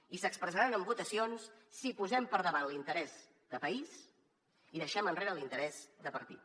i s’expressaran en votacions si posem per davant l’interès de país i deixem enrere l’interès de partit